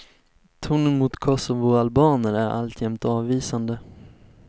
Tonen mot kosovoalbaner är alltjämt avvisande.